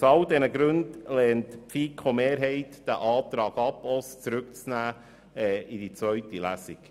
Aus all diesen Gründen lehnt die FiKo-Mehrheit diesen Antrag ab, auch das Zurücknehmen in die Kommission im Hinblick auf die zweite Lesung.